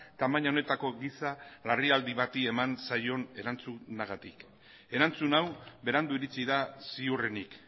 tamaina honetako giza larrialdi bati eman zaion erantzunagatik erantzun hau berandu iritsi da ziurrenik